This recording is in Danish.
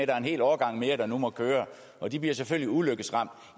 er en hel årgang mere der nu må køre og de bliver selvfølgelig ulykkesramt